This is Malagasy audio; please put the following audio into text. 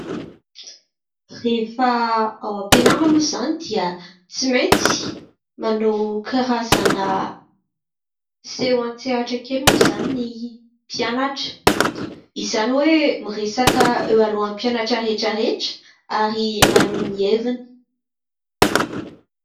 Rehefa ao am-pianarana moa izany dia tsy maintsy manao karazana seho an-tsehatra kely moa izany ny mpianatra, izany hoe miresaka eo alohan'ny mpianatra rehetrarehetra ary maneho ny heviny.